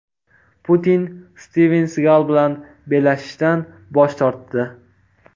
Putin Stiven Sigal bilan bellashishdan bosh tortdi.